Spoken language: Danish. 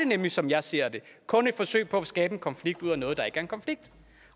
nemlig som jeg ser det kun et forsøg på at skabe en konflikt ud af noget der ikke er en konflikt